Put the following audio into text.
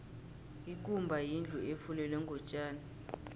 ikumba yindlu efulelwe ngotjani